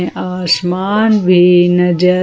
आसमान भी नजर--